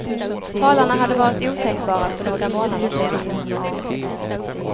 Talarna hade varit otänkbara för några månader sedan.